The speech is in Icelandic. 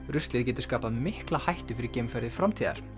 ruslið getur skapað mikla hættu fyrir geimferðir framtíðar